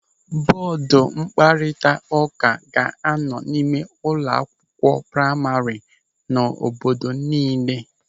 Bọọdu mkparịta ụka ga-anọ n'ime ụlọ akwụkwọ praima nọ n'obodo niile.